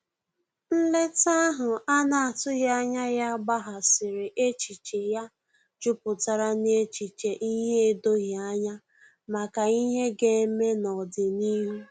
Nleta ahu ana atughi anya ya gbaghasiri echiche ya juputara na echiche ihe edoghi anya maka ihe ga-eme n'odịnihu